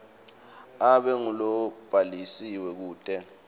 abe ngulobhalisiwe kute